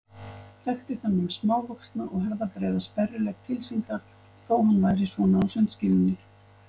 Þekkti þennan smávaxna og herðabreiða sperrilegg tilsýndar þó að hann væri svona á sundskýlunni.